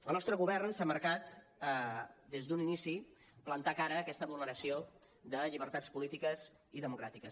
el nostre govern s’ha marcat des d’un inici plantar cara a aquesta vulneració de llibertats polítiques i democràtiques